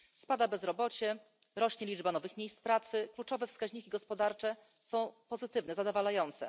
Spada bezrobocie, rośnie liczba nowych miejsc pracy, kluczowe wskaźniki gospodarcze są pozytywne, zadowalające.